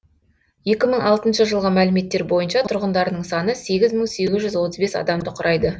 екі мың алтыншы жылғы мәліметтер бойынша тұрғындарының саны сегіз мың сегіз жүз отыз бес адамды құрайды